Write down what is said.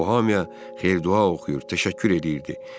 O, hamıya xeyir-dua oxuyub, təşəkkür edirdi.